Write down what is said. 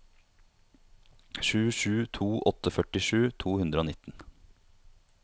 sju sju to åtte førtisju to hundre og nitten